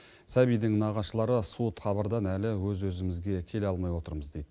сәбидің нағашылары суыт хабардан әлі өз өзімізге келе алмай отырмыз дейді